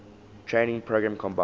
training program combined